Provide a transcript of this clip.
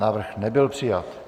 Návrh nebyl přijat.